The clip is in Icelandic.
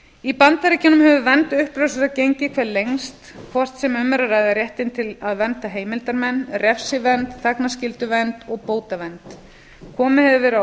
í bandaríkjunum hefur vernd uppljóstrara gengið hvað lengst hvort sem um er að ræða réttinn til að vernda heimildarmenn refsivernd þagnarskylduvernd og bótavernd komið hefur verið á